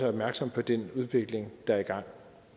opmærksomme på den udvikling der er i gang